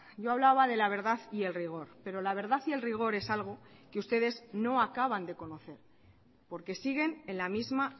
yo hablaba de la verdad y el rigor pero la verdad y el rigor es algo que ustedes no acaban de conocer porque siguen en la misma